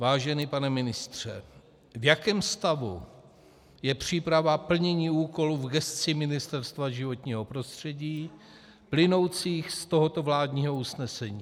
Vážený pane ministře, v jakém stavu je příprava plnění úkolů v gesci Ministerstva životního prostředí plynoucích z tohoto vládního usnesení?